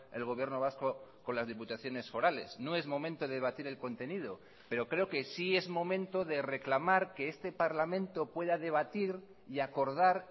el gobierno vasco con las diputaciones forales no es momento de debatir el contenido pero creo que sí es momento de reclamar que este parlamento pueda debatir y acordar